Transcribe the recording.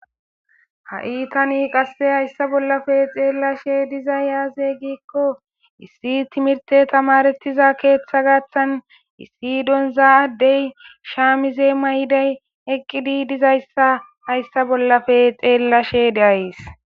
Ha'i tani qasse hayssa bollape xeellashe dizay yaaze giikko issi timirte tamarettiza keeththa gaththan issi don za'addey shaamize may'iday eqqidi dizayssa hayssa bollafe xeellashe diays.